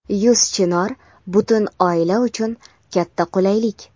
Yuz Chinor — butun oila uchun katta qulaylik!.